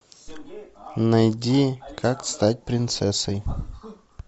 найди как стать принцессой